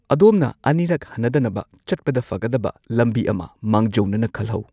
ꯑꯗꯣꯝꯅ ꯑꯅꯤꯔꯛ ꯍꯟꯅꯗꯅꯕ ꯆꯠꯄꯗ ꯐꯒꯗꯕ ꯂꯝꯕꯤ ꯑꯃ ꯃꯥꯡꯖꯧꯅꯅ ꯈꯜꯍꯧ꯫